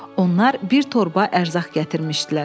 Onlar bir torba ərzaq gətirmişdilər.